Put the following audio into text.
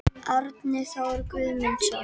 Árni Thor Guðmundsson